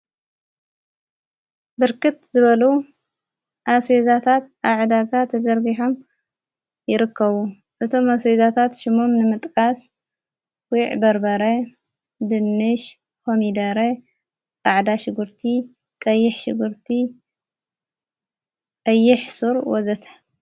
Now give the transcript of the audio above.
ብርክት ዝበሉ ኣስወዛታት ኣዕዳጋ ተዘርቢሖም ይርከቡ እቶም ኣሥወዛታት ሹሞም ንምጥቃስ ጊዕ በርበረ ድንሽ ኮሚደረ ፃዕዳ ሽጉርቲ ቀይሕ ሽጉርቲ አይሕ ሱር ወዘተ...